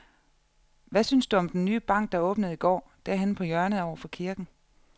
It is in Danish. Hvad synes du om den nye bank, der åbnede i går dernede på hjørnet over for kirken?